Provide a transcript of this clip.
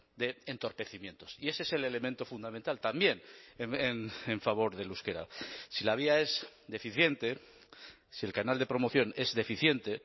de entorpecimientos y ese es el elemento fundamental también en favor del euskera si la vía es deficiente si el canal de promoción es deficiente